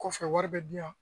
Kɔfɛ wari bɛ di yan